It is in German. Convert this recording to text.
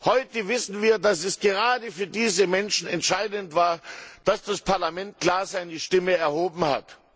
Heute wissen wir, dass es gerade für diese Menschen entscheidend war, dass das Parlament klar seine Stimme erhoben hat.